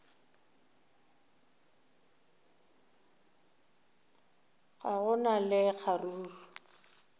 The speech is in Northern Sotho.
ga go na le kgaruru